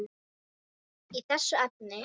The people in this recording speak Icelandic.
í þessu efni.